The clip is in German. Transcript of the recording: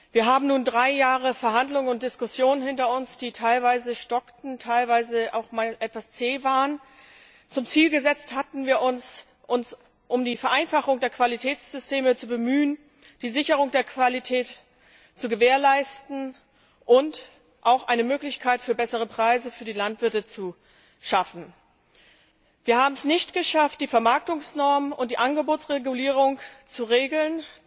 Wir haben nun drei Jahre Verhandlungen und Diskussionen hinter uns, die teilweise stockten und teilweise auch mal etwas zäh waren. Wir hatten uns zum Ziel gesetzt, uns um die Vereinfachung der Qualitätssysteme zu bemühen, die Sicherheit der Qualität zu gewährleisten und auch eine Möglichkeit für bessere Preise für die Landwirte zu schaffen. Wir haben es nicht geschafft, die Vermarktungsnormen und die Angebotsregulierung zu regeln.